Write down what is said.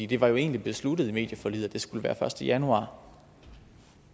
det var jo egentlig besluttet i medieforliget at det skulle være den første januar